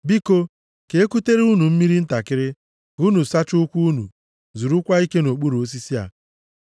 Biko, ka ekutere unu mmiri ntakịrị, ka unu sachaa ụkwụ unu, zurukwa ike nʼokpuru osisi a.